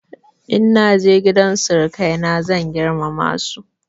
In na je gidan sirikaina zan girmama su.